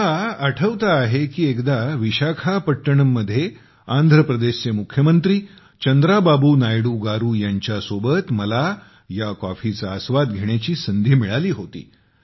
मला आठवते आहे की एकदा विशाखापट्टणम मध्ये आंध्र प्रदेशचे मुख्यमंत्री चंद्राबाबू नायडू गारू यांच्यासोबत मला ह्या कॉफीचा आस्वाद घेण्याची संधी मिळाली होती